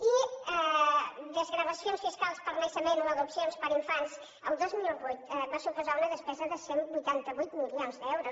i desgravacions fiscals per naixement o adopcions per infants el dos mil vuit va suposar una despesa de cent i vuitanta vuit milions d’euros